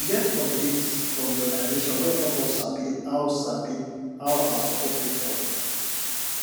we get update from the organisation wey help us sabi how sabi how our support take help